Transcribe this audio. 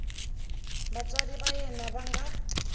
vatswari va yena va nga